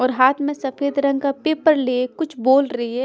और हाथ में सफेद रंग का पेपर लिए कुछ बोल रही है।